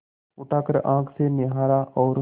उठाकर आँख से निहारा और